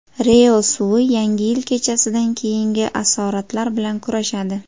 ReO suvi Yangi yil kechasidan keyingi asoratlar bilan kurashadi.